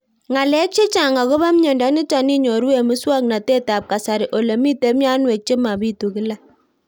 Ng'alek chechang' akopo miondo nitok inyoru eng' muswog'natet ab kasari ole mito mianwek che mapitu kila